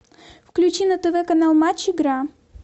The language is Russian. включи на тв канал матч игра